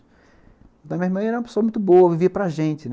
Minha irmã era uma pessoa muito boa, vivia para gente, né.